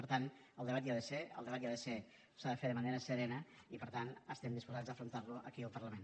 per tant el debat hi ha de ser el debat hi ha de ser s’ha de fer de manera serena i per tant estem disposats a afrontar lo aquí al parlament